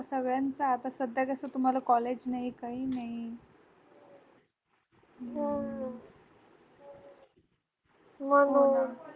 सगळ्यांचा आता सध्या कस तुम्हाला college नाही काही नाही